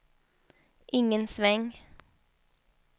ingen sväng